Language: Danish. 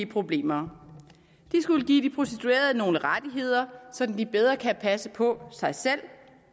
problemer den skulle give de prostituerede nogle rettigheder sådan at de bedre kan passe på sig selv